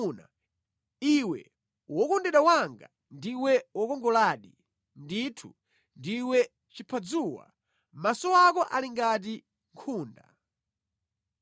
Iwe wokondedwa wanga, ndiwe wokongoladi! Ndithu, ndiwe chiphadzuwa, maso ako ali ngati nkhunda.